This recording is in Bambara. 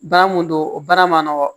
Baara mun don o baara ma nɔgɔn